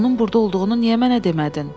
“Onun burda olduğunu niyə mənə demədin?”